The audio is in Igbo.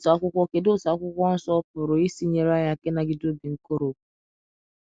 kedụ otú akwụkwo kedụ otú akwụkwo nsọ pụrụ isi nyere anyị aka ịnagide obi nkoropụ?